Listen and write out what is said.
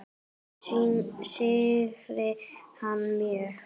Ég syrgi hann mjög.